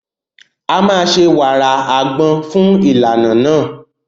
A máa ṣe wàrà ọ̀gẹ̀dẹ̀ fún ìlànà náà.